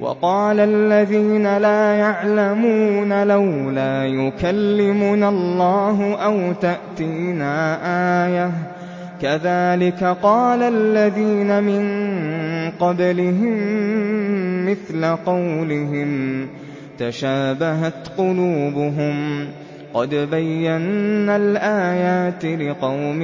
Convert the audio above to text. وَقَالَ الَّذِينَ لَا يَعْلَمُونَ لَوْلَا يُكَلِّمُنَا اللَّهُ أَوْ تَأْتِينَا آيَةٌ ۗ كَذَٰلِكَ قَالَ الَّذِينَ مِن قَبْلِهِم مِّثْلَ قَوْلِهِمْ ۘ تَشَابَهَتْ قُلُوبُهُمْ ۗ قَدْ بَيَّنَّا الْآيَاتِ لِقَوْمٍ